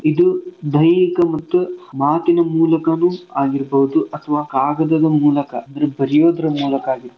ಇದು ದೈಹಿಕ ಮತ್ತು ಮಾತಿನ ಮೂಲಕನೂ ಆಗಿರ್ಬೌದು ಅಥ್ವಾ ಕಾಗದದ ಮೂಲಕ ಅಂದ್ರೆ ಬರಿಯೋದ್ರ ಮೂಲಕ ಆಗಿರ್ಬೌದು